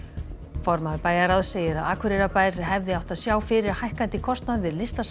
formaður bæjarráðs segir að Akureyrarbær hefði átt að sjá fyrir hækkandi kostnað við Listasafn